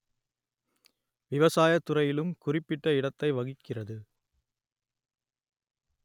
விவசாய துறையிலும் குறிப்பிட்ட இடத்தை வகிக்கிறது